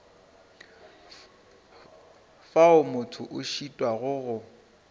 fao motho a šitwago go